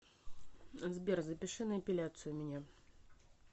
сбер запиши на эпиляцию меня